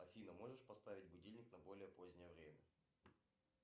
афина можешь поставить будильник на более позднее время